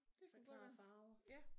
Der klare farver